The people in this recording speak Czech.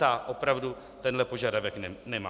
Ta opravdu tenhle požadavek nemá.